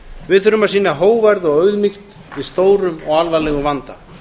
við þurfum að sýna hógværð og auðmýkt í stórum og alvarlegum vanda